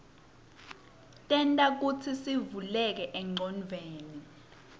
tenta kutsisivuleke engcondweni